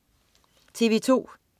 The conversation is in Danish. TV2: